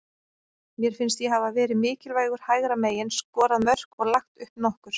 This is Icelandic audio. Mér finnst ég hafa verið mikilvægur hægra megin, skorað mörk og lagt upp nokkur.